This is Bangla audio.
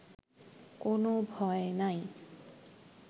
কোনো ভয় নাই